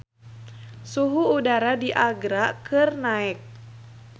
Suhu udara di Agra keur naek